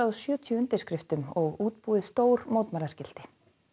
og sjötíu undirskriftum og útbúið stór mótmælaskilti